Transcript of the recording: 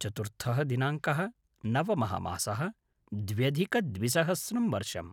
चतुर्थः दिनाङ्कः - नवमः मासः - द्व्यधिकद्विसहस्रं वर्षम्